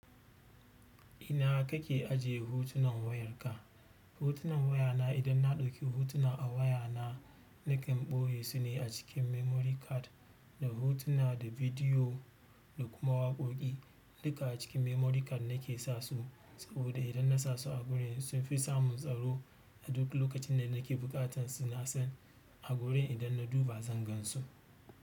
Ina kake ajje hotunan wayar ka hotunan wayana idan na ɗauki hotuna a wayana nakan ɓoye su ne a cikin memory card. Da hotuna da bidiyo da kuma waƙoƙi duka a cikin memory card nake sa su. Saboda idan na sa su a gurin sun fi samun tsaro. A duk lokacin da nake buƙatar su na san a gurin idan na duba zan gan su.